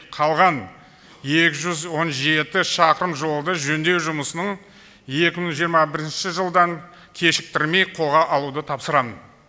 қалған екі жүз он жеті шақырым жолды жөндеу жұмысын екі мың жиырма бірінші жылдан кешіктірмей қолға алуды тапсырамын